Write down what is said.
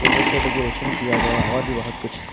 फूलों से डेकोरेशन किया गया और भी बहुत कुछ--